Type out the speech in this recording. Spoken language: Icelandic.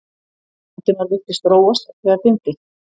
Valdimar virtist róast, þegar dimmdi.